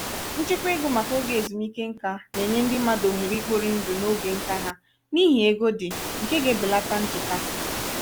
nchekwa ego maka oge ezumike ǹkà na-enye ndị mmadụ ohere ikpori ndụ na ógè ǹkà ha n'ihi ego dị nke ga-ebelata nchekasị.